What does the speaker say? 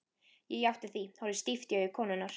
Ég játti því, horfði stíft í augu konunnar.